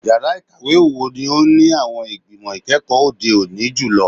Yara ikawe wo ni o ni awọn igbimọ ikẹkọ ode oni julọ?